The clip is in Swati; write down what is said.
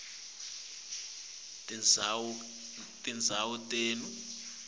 kuletinye tindzawo kepha